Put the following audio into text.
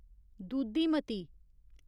दूधीमती